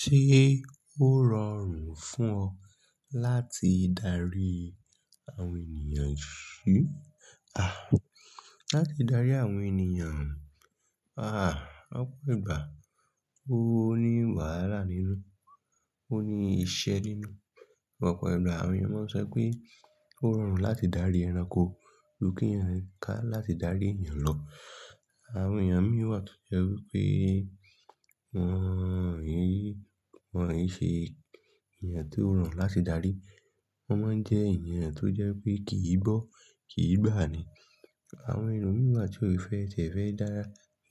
Ṣé ó rọrùn fún ọ láti darí àwọn ènìyàn? Ṣú, à, láti darí àwọn ènìyàn, à, ọ̀pọ̀ ìgbà ó ní wàhálà nínú, ó ní iṣẹ́ nínú. Ọ̀pọ̀ ìgbà àwọn ènìyàn máa ń sọ pé ó rọrùn láti darí ẹranko ju kí ènìyàn ká láti darí ènìyàn lọ. Àwọn ènìyàn mìí tó jẹ́ wípé wọ́n yìí, wọ́n yìí ṣe ènìyàn tó rọrùn láti darí, wọ́n máa ń jẹ́ ènìyàn tó jẹ́ pé kì í gbọ́, kì í gbà ní. Àwọn ènìyàn mìí wa tí ò fẹ́ tẹ̀, fẹ́ dá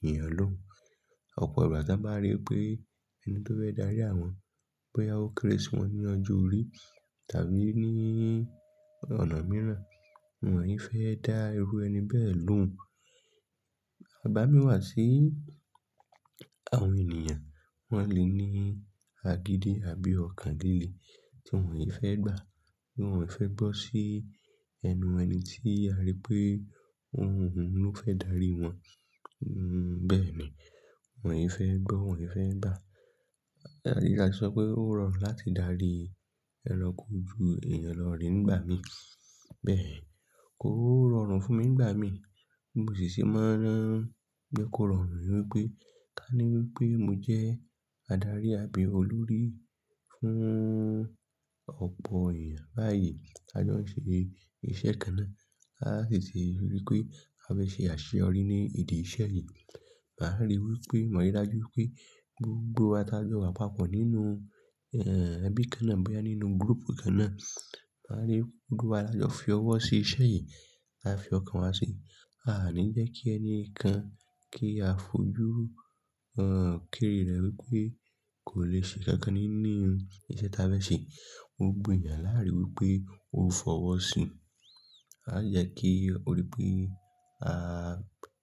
ènìyàn lóun. Ọ̀pọ̀ ìgbà tí a bá rí pé ẹni tó fẹ́ darí àwọn bóyá ó kéré sí wọn ní ọjọ́ orí tàbí ní ọ̀nà mìíràn, wọ́n yìí fẹ́ dá irú ẹni bẹ́ẹ̀ lóun. Àbámí wà sí àwọn ènìyàn, wọ́n lè ní agídí àbí ọkàn líle tí wọ́n yìí fẹ́ gbà, bí wọ́n ò fẹ́ gbọ́ sí ẹnu ẹni tí a rí pé òun ló fẹ́ darí wọn, bẹ́ẹ̀ ni, wọ́n yìí fẹ́ gbọ́, wọ́n yìí fẹ́ gbà. Alẹ́ sọ pé ó rọrùn láti darí ẹranko ju ènìyàn lọ nígbà mí. Bẹ́ẹ̀ kò rọrùn fún mi nígbà mí, bí mo sì ṣe máa ń jẹ́ kò rọrùn ni wípé ká ní wípé mo jẹ́ adarí àbí olórí fún ọ̀pọ̀ ènìyàn báyìí tí ajo ń ṣe iṣẹ́ kan náà, a sì ti rí wípé a fẹ́ ṣe àṣẹ yọrí ní ìdí iṣẹ́ yìí. A á rí wípé maa rí dájú wípé gbogbo wa tí a jọ wà papọ̀ nínú, ẹbí kan náà bóyá nínú group kan náà, a rí gbogbo wa la jọ fi ọwọ́ sí iṣẹ́ yìí, a fi ọkàn wa sí i. A à ní jẹ́ kí ẹni kan kí a fojú, kere rẹ̀ wípé kò lè ṣise kan nínú iṣẹ́ tí a fẹ́ ṣe. Gbogbo ènìyàn láàárí wípé ó fọwọ́ sí i. A à jẹ́ kí ó rí pé ní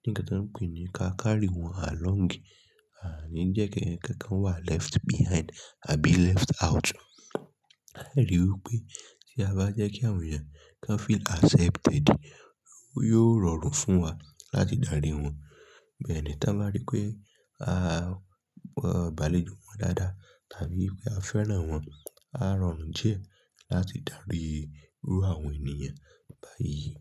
ǹkan tán ń pè ní ká carry wọn along, a à ní jẹ́ kí ẹnìkankan wà left behind àbí left out. A à rí wípé tí a bá jẹ́ kí àwọn ènìyàn kan feel accepted, ó yóò rọrùn fún wa láti darí wọn. Bẹ́ẹ̀ ni, tí wọ́n bá rí pé, abàlé jù wọ́n lọ dáadáa tàbí pé a fẹ́ràn wọ́n, á rọrùn díẹ̀ láti darí irú àwọn ènìyàn báyìí.